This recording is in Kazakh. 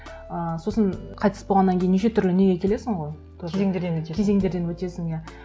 ыыы сосын қайтыс болғаннан кейін неше түрлі неге келесің ғой тоже кезеңдерден өтесің кезеңдерден өтесің иә